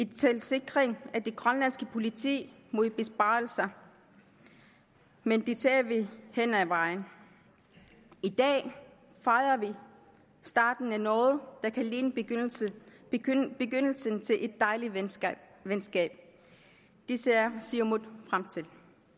til sikring af det grønlandske politi mod besparelser men det tager vi hen ad vejen i dag fejrer vi starten af noget der kan ligne begyndelsen til et dejligt venskab venskab det ser siumut frem til